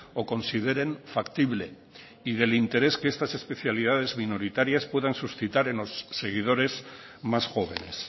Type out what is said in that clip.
o consideren factible y del interés que estas especialidades minoritarias puedan suscitar en los seguidores más jóvenes